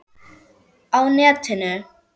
Á netinu